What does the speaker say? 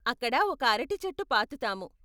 అక్కడ ఒక అరటి చెట్టు పాతుతాము.